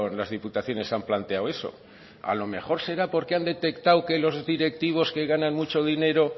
las diputaciones han planteado eso a lo mejor será porque han detectado que los directivos que ganan mucho dinero